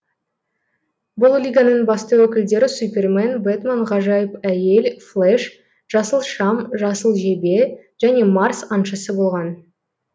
бұл лиганың басты өкілдері супермен бэтмен ғажайып әйел флэш жасыл шам жасыл жебе және марс аңшысы болған